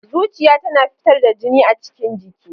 Zuciya tana fitar da jini a cikin jiki.